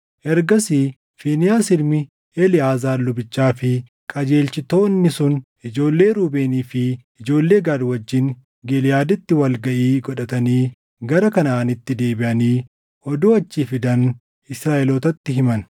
Ergasiis Fiinehaas ilmi Eleʼaazaar lubichaa fi qajeelchitoonni sun ijoollee Ruubeenii fi ijoollee Gaad wajjin Giliʼaaditti wal gaʼii godhatanii gara Kanaʼaanitti deebiʼanii oduu achii fidan Israaʼelootatti himan.